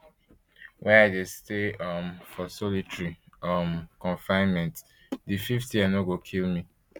wey i dey stay um for solitary um confinement di fifth year no go kill me